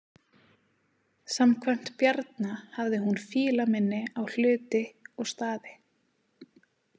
Samkvæmt Bjarna hafði hún fílaminni á hluti og staði.